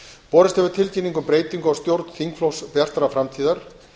borist hefur tilkynning um breytingu á stjórn þingflokks bjartrar framtíðar